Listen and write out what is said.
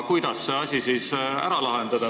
Kuidas see asi siis ära lahendada?